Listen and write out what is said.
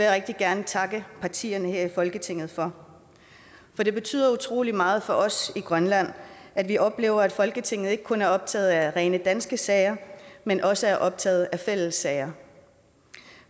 rigtig gerne takke partierne her i folketinget for det betyder utrolig meget for os i grønland at vi oplever at folketinget ikke kun er optaget af rene danske sager men også er optaget af fælles sager